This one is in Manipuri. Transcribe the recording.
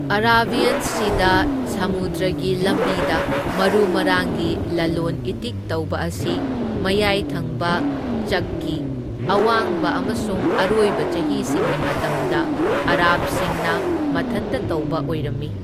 ꯑꯔꯥꯕꯤꯌꯟ ꯁꯤꯗ ꯁꯃꯨꯗ꯭ꯔꯒꯤ ꯂꯝꯕꯤꯗ ꯃꯔꯨ ꯃꯔꯥꯡꯒꯤ ꯂꯂꯣꯟ ꯏꯇꯤꯛ ꯇꯧꯕ ꯑꯁꯤ ꯃꯌꯥꯏ ꯊꯪꯕ ꯆꯛꯀꯤ ꯑꯋꯥꯡꯕ ꯑꯃꯁꯨꯡ ꯑꯔꯣꯏꯕ ꯆꯍꯤꯁꯤꯡꯒꯤ ꯃꯇꯝꯗ ꯑꯔꯥꯕꯁꯤꯡꯅ ꯃꯊꯟꯇ ꯇꯧꯕ ꯑꯣꯏꯔꯝꯃꯤ꯫